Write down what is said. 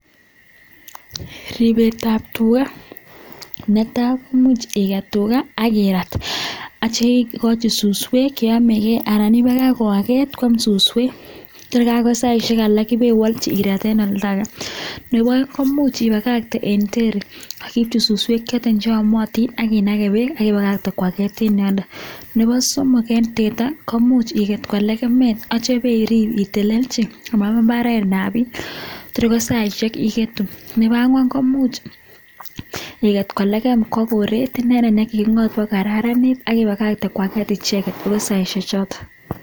Ripeet ap tugaaa netaii komuch iket tugaa ak irart anan ipakach koageet anan ipakach asikwaget saisheeeck alak anan ipagagte sikait saicheek alak ikwerii kwa kaa pa keekeeee asikokon chegoo chekipaishen